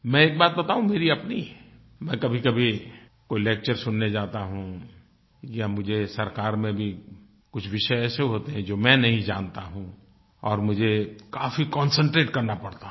मैं एक बात बताऊं मेरी अपनी मैं कभीकभी कोई लेक्चर सुनने जाता हूँ या मुझे सरकार में भी कुछ विषय ऐसे होते हैं जो मैं नहीं जानता हूँ और मुझे काफी कॉन्सेंट्रेट करना पड़ता है